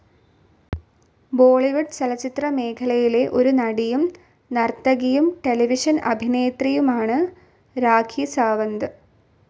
ബോളിവുഡ് ചലച്ചിത്ര മേഖലയിലെ ഒരു നടിയും, നർത്തകിയും, ടെലിവിഷൻ അഭിനേത്രിയുമാണ് രാഖി സാവന്ത്.